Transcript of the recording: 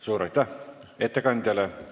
Suur aitäh ettekandjale!